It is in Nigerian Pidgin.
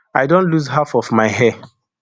i don loose half of my hair